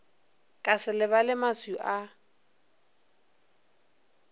ka se lebale maswi a